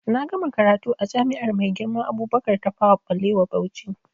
Na gama karatu a jami'ar Maigirma Abubakar Tafawa Ɓalewa Bauchi